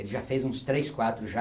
Ele já fez uns três, quatro já.